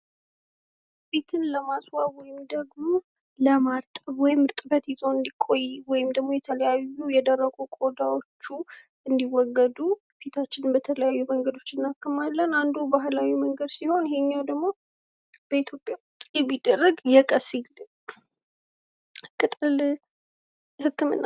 ፊትን ለማስዋብ ወይም ለማርጠብ እርጥበት ይዞ እንዲቆይ ወይም ደግሞ የተለያዩ የደረቁ ቆዳዎች እንዲወገዱ ፊታችንን በተለያዩ ነገሮች እናክማለን። አንዱ ባህላዊ መንገድ ሲሆን ሌላኛው ደግሞ በኢትዮጵያ የሚደረግ የቀሲል ቅጠል ህክምና ነው።